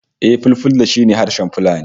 Eh, Fulfulde shi ne harshen Fulani